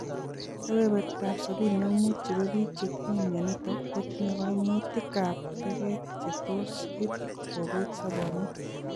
Kebebertap 75% nebo biik chetinye mionitok kotinye kaimutikab teket chetos iit kobete sobonwek